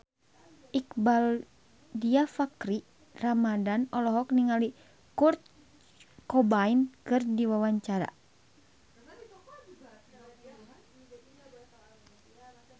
Iqbaal Dhiafakhri Ramadhan olohok ningali Kurt Cobain keur diwawancara